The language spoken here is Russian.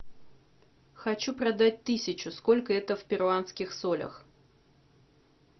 хочу продать тысячу сколько это в перуанских солях